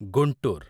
Guntur